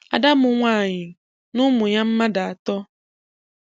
Ada m nwaanyị na ụmụ ya mmadụ atọ.